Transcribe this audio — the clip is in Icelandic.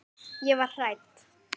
Ég var hrædd.